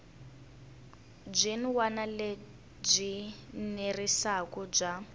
byin wana lebyi enerisaku bya